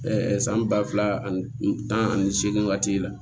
san ba fila ani tan ani seegin waati la